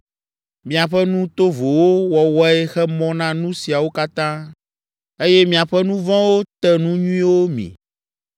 Miaƒe nu tovowo wɔwɔe xe mɔ na nu siawo katã, eye miaƒe nu vɔ̃wo te nu nyuiwo mi.